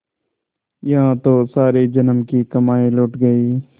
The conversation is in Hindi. यहाँ तो सारे जन्म की कमाई लुट गयी